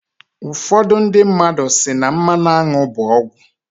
ụfọdụ ndị mmadu si na "mmanụ aṅụ bụ ọgwụ"